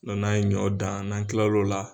n'an ye ɲɔ dan n'an tilala o la